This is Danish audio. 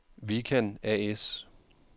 Vikan A/S